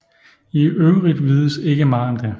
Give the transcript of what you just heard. I øvrigt vides ikke meget om det